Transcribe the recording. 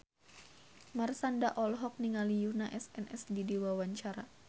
Marshanda olohok ningali Yoona SNSD keur diwawancara